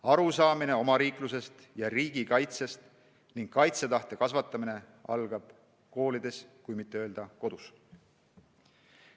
Arusaamine omariiklusest ja riigikaitsest ning kaitsetahte kasvatamine algab koolidest, kui mitte öelda kodust.